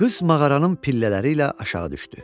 Qız mağaranın pillələri ilə aşağı düşdü.